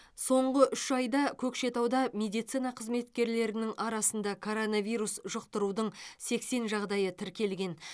соңғы үш айда көкшетауда медицина қызметкерлерінің арасында коронавирус жұқтырудың сексен жағдайы тіркелген